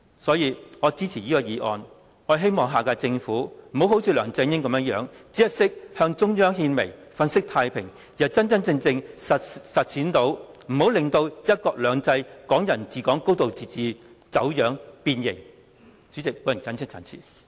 因此，我支持議案，希望下屆政府不要像梁振英般，只懂得向中央獻媚、粉飾太平，而是真真正正聆聽及回應市民訴求，不要令"一國兩制"、"港人治港"、"高度自治"走樣、變形。